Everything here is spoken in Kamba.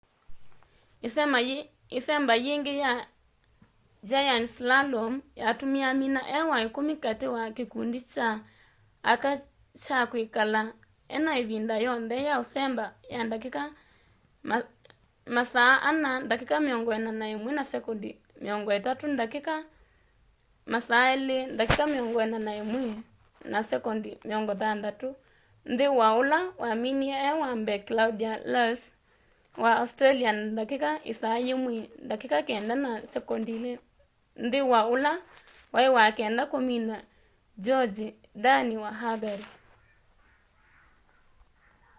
ĩsemba yake yĩngĩ ya giant slalom yatumie amina e wa ikumi kati ka kikundi kya aka kya kwikala ena ivinda yonthe ya usemba ya ndatika 4:41.30 ndatika 2:41.60 nthi wa ũla waminie e wa mbee claudia loesch wa australia na ndatika 1:09.02 nthĩ wa ũla waĩ wa kenda kũmina gyongyi dani wa hungary